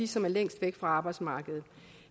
som er længst væk fra arbejdsmarkedet